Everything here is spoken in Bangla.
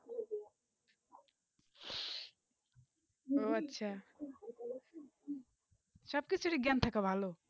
ওহ আচ্ছা সাবকে থেকে বিজ্ঞান থাকা ভালো